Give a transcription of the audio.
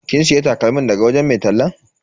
Kin siya takalmin daga wajen mai tallan?